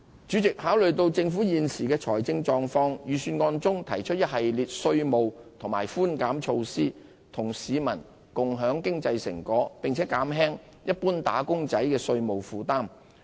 主席，考慮到政府現時的財政狀況，預算案中提出一系列稅務和寬減措施，與市民共享經濟成果，並減輕一般"打工仔"的稅務負擔。